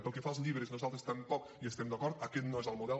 pel que fa als llibres nosaltres tampoc hi estem d’acord aquest no és el model